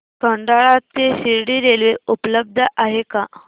खंडाळा ते शिर्डी रेल्वे उपलब्ध आहे का